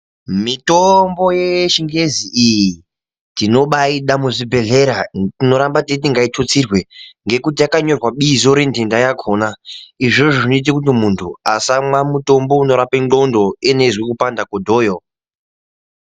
Mitombo yechingezi iyi tinobaida muzvibhedhlera tinoramba teiti ngaitutsirwe ngekuti yakanyorwa bizo renhenda yakona izvozvo zvinoita muntu asamwe mutombo unorapa nwondo iyena achizwa kupanda kwedhoyo